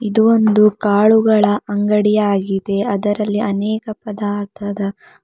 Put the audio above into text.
ಇದು ಒಂದು ಕಾಳುಗಳ ಅಂಗಡಿ ಆಗಿದೆ ಅದರಲ್ಲಿ ಅನೇಕ ಪದಾರ್ಥದ--